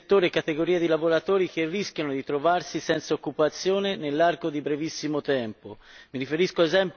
Vi sono determinati settori e categorie di lavoratori che rischiano di trovarsi privi di occupazione nell'arco di brevissimo tempo.